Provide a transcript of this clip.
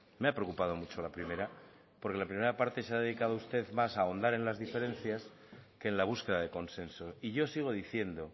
porque la primera parte se ha dedicado usted más a ahondar en las diferencias que en la búsqueda de consenso y yo sigo diciendo